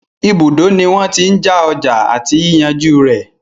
Ibùdó ní wọ́n tí n já ọjà àti yíyànjú rẹ̀.